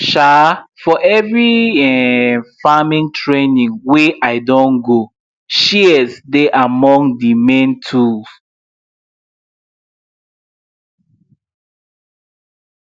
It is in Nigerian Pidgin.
um for every um farm training wey i don go shears dey among the main tools